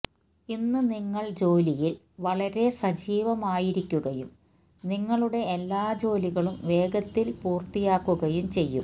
ഇന്ന് നിങ്ങള് ജോലിയില് വളരെ സജീവമായിരിക്കുകയും നിങ്ങളുടെ എല്ലാ ജോലികളും വേഗത്തില് പൂര്ത്തിയാക്കുകയും ചെയ്യും